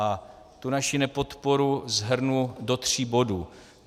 A tu naši nepodporu shrnu do tří bodů.